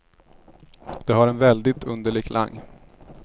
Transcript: Det har en väldigt underlig klang.